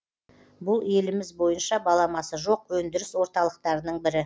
бұл еліміз бойынша баламасы жоқ өндіріс орталықтарының бірі